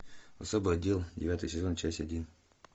особый отдел девятый сезон часть один